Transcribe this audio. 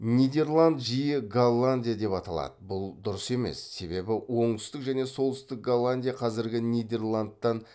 нидерланд жиі голландия деп аталады бұл дұрыс емес себебі оңтүстік және солтүстік голландия қазіргі нидерландтан